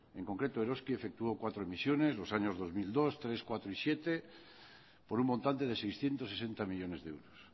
en concreto eroski efectuó cuatro emisiones los años dos mil dos dos mil tres dos mil cuatro y dos mil siete por un montante de seiscientos sesenta millónes de euros